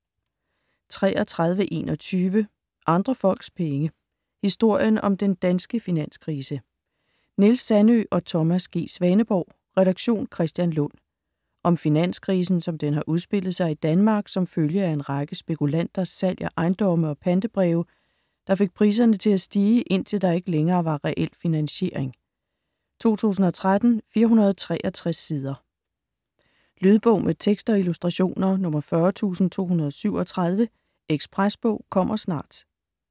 33.21 Andre folks penge: historien om den danske finanskrise Niels Sandøe & Thomas G. Svaneborg, redaktion: Kristian Lund. Om finanskrisen som den har udspillet sig i Danmark som følge af en række spekulanters salg af ejendomme og pantebreve der fik priserne til at stige, indtil der ikke længere var reel finansiering. 2013, 463 sider. Lydbog med tekst og illustrationer 40237 Ekspresbog - kommer snart